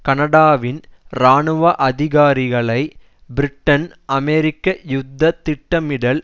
கனடாவின் இராணுவ அதிகாரிக்களை பிரிட்டன்அமெரிக்க யுத்த திட்டமிடல்